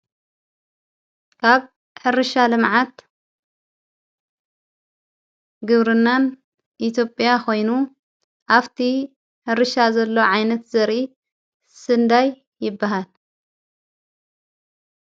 ካብ ሕርሻ ለመዓት ግብርናን ኢቴጵያ ኾይኑ ኣፍቲ ሕርሻ ዘሎ ዓይነት ዘሪ ስንዳይ ይበሃል።